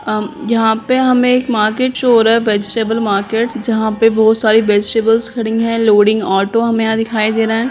अम यहाँ पे हमें एक मार्केट शो हो रहा है वेजिटेबल मार्केट जहाँ पे बहोत सारी वेजीटेबल्स खड़ी है लोडिंग ऑटो हमें यहाँ दिखाई दे रहा है।